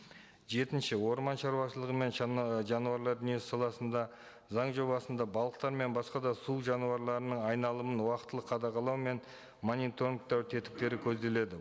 жетінші орман шаруашылығы мен жануарлар дүниесі саласында заң жобасында балықтар мен басқа да су жануарларының айналымын уақытылы қадағалау мен мониторингтау тетіктері көзделеді